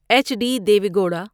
H D Deve gouda